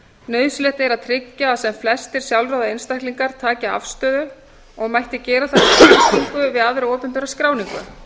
nauðsynlegt er að tryggja að sem flestir sjálfráða einstaklingar taki afstöðu og mætti gera það með tengingu við aðra opinbera skráningu